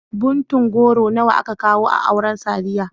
Ɓuntun goro nawa aka kawo a auren Sadiya?